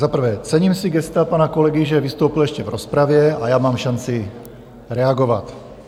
Za prvé, cením si gesta pana kolegy, že vystoupil ještě v rozpravě a já mám šanci reagovat.